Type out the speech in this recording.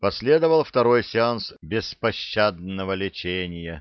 последовал второй сеанс беспощадного лечения